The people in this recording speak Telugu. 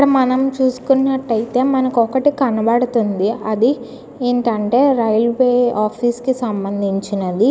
ఇక్కడ మనం చూసుకున్నట్టయితే మనకి ఒకటి కనబడుతుంది అది ఏంటంటే రైల్వే ఆఫీసు కి సంభందించినది.